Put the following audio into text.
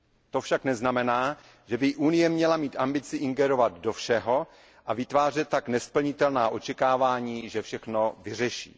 To však neznamená, že by Unie měla mít ambici ingerovat do všeho a vytvářet tak nesplnitelná očekávání, že všechno vyřeší.